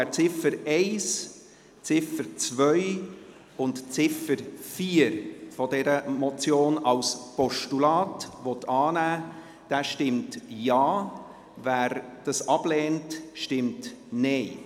Wer die Ziffer 1, die Ziffer 2 und die Ziffer 4 dieser Motion als Postulat annehmen will, stimmt Ja, wer dies ablehnt, stimmt Nein.